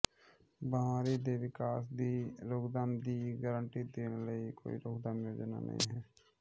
ਬੀਮਾਰੀ ਦੇ ਵਿਕਾਸ ਦੀ ਰੋਕਥਾਮ ਦੀ ਗਾਰੰਟੀ ਦੇਣ ਲਈ ਕੋਈ ਰੋਕਥਾਮ ਯੋਜਨਾ ਨਹੀਂ ਹੈ